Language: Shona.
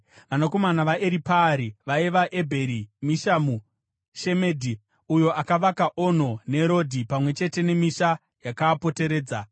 Vanakomana vaEripaari vaiva: Ebheri, Mishamu, Shemedhi (uyo akavaka Ono neRodhi pamwe chete nemisha yakaapoteredza)